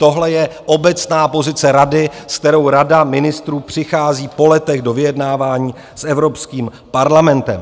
Tohle je obecná pozice Rady, s kterou Rada ministrů přichází po letech do vyjednávání s Evropským parlamentem.